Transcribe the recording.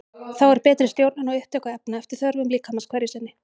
Þá er betri stjórnun á upptöku efna eftir þörfum líkamans hverju sinni.